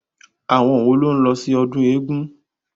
Àwọn wo ló ń lọ sí ọdún eégun?